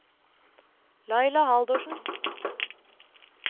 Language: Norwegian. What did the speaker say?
Laila Haldorsen